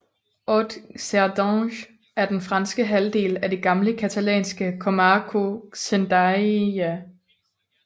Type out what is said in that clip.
Haute Cerdagne er den franske halvdel af det gamle catalanske comarca Cerdanya